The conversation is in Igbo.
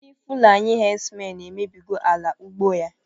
Ndị fulani hedsmen emebigo ala ugbo ya